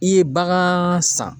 I ye bagan san